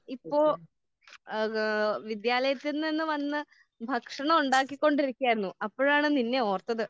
ഇപ്പൊ ഏഹ് ഹാ വിദ്യാലയത്തിൽ നിന്ന് വന്ന് ഭക്ഷണം ഉണ്ടാക്കിക്കൊണ്ടിരിക്കുകയായിരുന്നു. അപ്പഴാണ് നിന്നെ ഓർത്തത്.